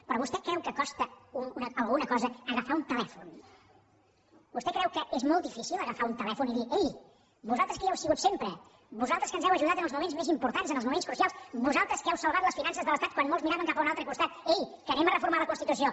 però vostè creu que costa alguna cosa agafar un telèfon vostè creu que és molt difícil agafar un telèfon i dir ei vosaltres que hi heu sigut sempre vosaltres que ens heu ajudat en els moments més importants en els moments crucials vosaltres que heu salvat les finances de l’estat quan molts miraven cap a un altre costat ei que anem a reformar la constitució